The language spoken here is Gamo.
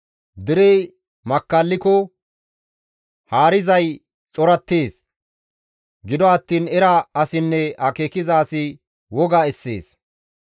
Derey makkalliko haarizay corattees; Gido attiin era asinne akeekiza asi woga essees.